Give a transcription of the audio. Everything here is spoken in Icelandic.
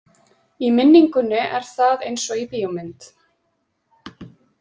Í minningunni er það eins og í bíómynd.